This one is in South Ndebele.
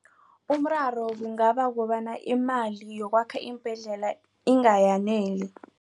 Umraro kungaba ukobana imali yokwakha iimbhedlela ingayayaneli.